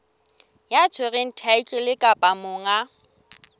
ya tshwereng thaetlele kapa monga